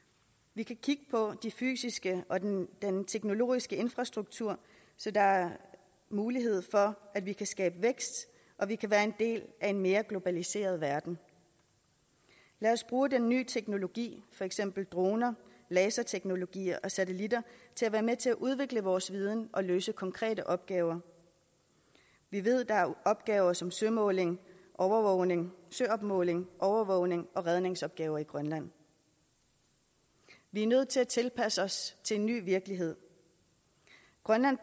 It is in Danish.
vi kan kigge på den fysiske og den teknologiske infrastruktur så der er mulighed for at vi kan skabe vækst og vi kan være en del af en mere globaliseret verden lad os bruge den nye teknologi for eksempel droner laserteknologi og satelitter til at være med til at udvikle vores viden og løse konkrete opgaver vi ved der er opgaver som søopmåling overvågning søopmåling overvågning og redningsopgaver i grønland vi er nødt til at tilpasse os til en ny virkelighed grønland